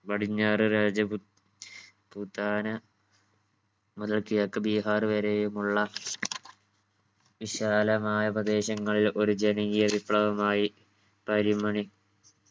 പടിഞ്ഞാറ് രാജ്പുത് പുതാന മുതൽ കിഴക്ക് ബീഹർ വരെയുമുള്ള വിശാലമായ പ്രദേശങ്ങളിൽ ഒരു ജനകീയ വിപ്ലവം ആയി പരിമണി